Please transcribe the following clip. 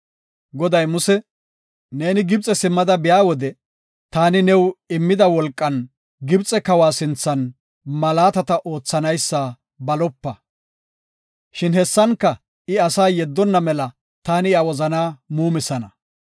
Goday Muse, “Neeni Gibxe simmada biya wode, taani new immida wolqan Gibxe kawa sinthan malaatata oothanaysa balopa. Shin hessanka I asaa yeddonna mela taani iya wozanaa muumisana.